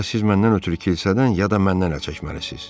Ya siz məndən ötrü kilsədən, ya da məndən əl çəkməlisiz.